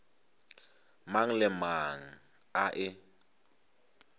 mang le mang a e